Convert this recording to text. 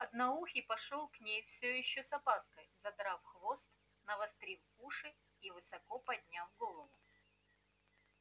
одноухий пошёл к ней всё ещё с опаской задрав хвост навострив уши и высоко подняв голову